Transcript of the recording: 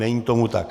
Není tomu tak.